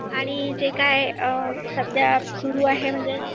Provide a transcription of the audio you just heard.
आणि जे काय सध्या सुरु आहे म्हणजे